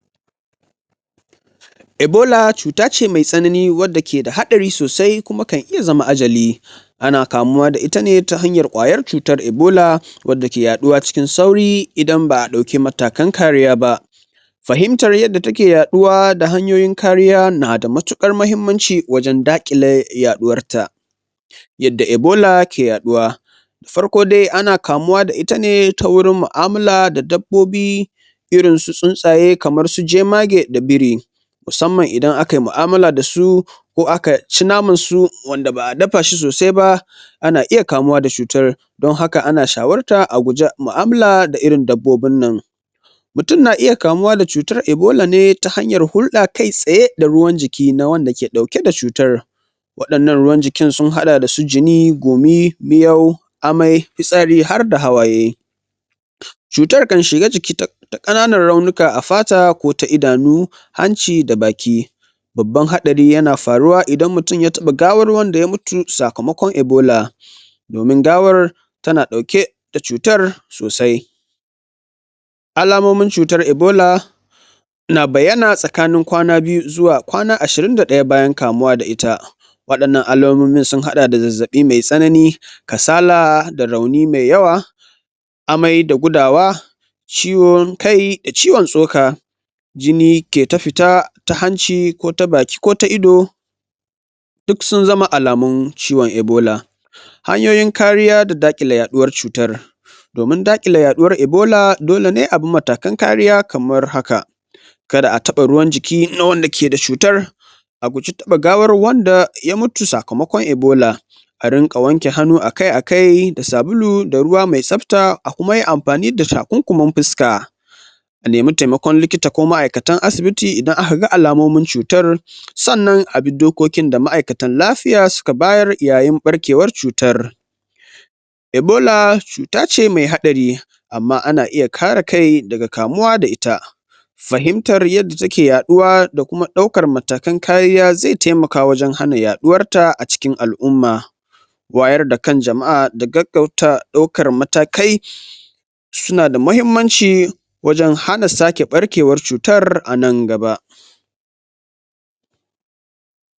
Ebola cuta ce mai tsanani wadda ke da hadari sosae kuma kan iya zama ajali, ana kamuwa da ita ne ta hanyar kwayar cutar ebola wadda ke yaduwa cikin sauri idan ba'a dauki matakan kariya ba. Fahimtar yadda take yaduwa da hanyoyin kariya na da matukar mahimmaci wajen kare yaduwar ta, yadda ebola ke yaduwa, farko dai ana kamuwa da ita ne ta wurin mu'amala da dabbobi irin su jemage da biri, musamman idan akayi mu'amala dasu ko aka ci naman su wanda ba'a dafa shi ana iya kamawa da cutar don haka ana shawartar a guji mu'amala da irin dabbobin nan, mutum na iya kamuwa da cutar ebola ne ta hanyar hulda kai tsaye da ruwan jiki na wanda ke dauke da cutar, wadannan ruwan jikin sun hada da su gumi, miyau, amai, fitsari harda hawaye. Cutar kan shiga jiki ta kananan raunuka a fata ko ta idanu, hanci da baki, babban hadari na faruwa idan mutum ya taba gawar wanda ya mutu sakamakon ebola, domin gawar tana dauke da cutar sosai alamomin cutar ebola na bayyana tsakanin kwana ashirin da daya bayan kamuwa da ita, wadannan alamomi sun hada da zazzabi mai tsanani, kasala da rauni mai yawa, amai da gudawa ciwon kai da ciwon tsoka,, jini ke ta fita ta hanci ko ta baki ko ta ido, sun zama alamun ciwon ebola, hanyoyin kariya da dakile yaduwar cutar, domin dakile yaduwar ebola dole ne a bi matakan kariya kamar haka kada a taba ruwan jiki na wanda ke da cutar, guji taba gawar wadda ya mutu sakamakon ebola, a dinga wanke hannu akai akai da sabulu da ruwa mai tsafta, kuma yi amfani da takunkumin fuska, a nemi taimakon ma'aikatan asibiti idan aka ga alamomin cutar, sannan abi dokokin da ma'aikatan lafiya suka bayar yayin barkewar cutar, ebola cuta ce mai hadari amma ana iya kare kai daga kamuwa da ita, fahimtar yadda take yaduwa da kuma daukan matakan kariya zai taimaka wajen hana yaduwar ta a cikin alumma, waayar da kan jama'a da gaggauta daukar matakai suna da mahimmaci wajen hana sake barkewar cutar a nan gaba.